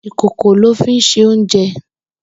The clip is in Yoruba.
Ikókó lò fi n sé óunjè